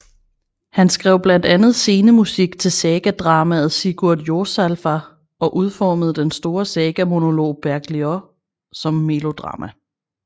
Han skrev blandt andet scenemusik til sagadramaet Sigurd Jorsalfar og udformede den store sagamonolog Bergliot som melodrama